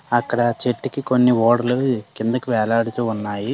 అక్కడ చెట్టుకి కొన్ని ఓడలు కిందకి వేలాడుతూ ఉన్నాయి.